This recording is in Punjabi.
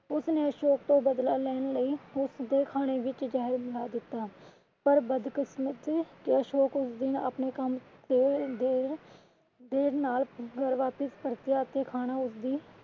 ਉਸਨੇ ਅਸ਼ੋਕ ਤੋਂ ਬਦਲਾ ਲੈਣ ਲਈ ਉਸਦੇ ਖਾਨੇ ਵਿੱਚ ਜ਼ਹਿਰ ਮਿਲਾ ਦਿੱਤਾ ਪਰ ਬਦਕਿਸਮਤ ਕਿ ਅਸ਼ੋਕ ਉਸ ਦਿਨ ਆਪਣੇ ਕੰਮ ਤੋਂ ਦੇਰ ਨਾਲ ਘਰ ਵਾਪਿਸ ਪਰਤਿਆ ਅਤੇ ਖਾਨਾ ਉਸਦੀ